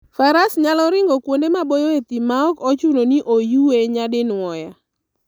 Faras nyalo ringo kuonde maboyo e thim maok ochuno ni oyue nyadinwoya.